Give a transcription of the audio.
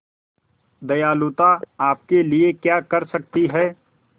दयालुता आपके लिए क्या कर सकती है